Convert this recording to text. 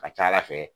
Ka ca ala fɛ